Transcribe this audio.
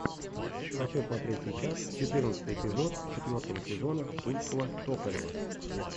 хочу смотреть сейчас четырнадцатый эпизод четвертого сезона тульского токарева